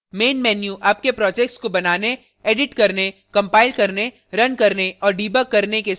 main menu आपके projects को बनाने एडिट करने कंपाइल करने रन करने और डिबग करने के साथ ही